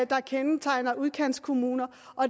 der kendetegner udkantskommuner